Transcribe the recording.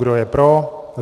Kdo je pro?